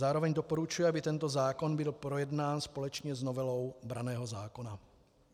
Zároveň doporučuji, aby tento zákon byl projednán společně s novelou branného zákona.